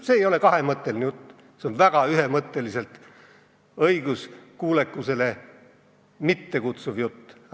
See ei ole kahemõtteline jutt, see on väga ühemõtteliselt õiguskuulekusele mitte üleskutsuv jutt.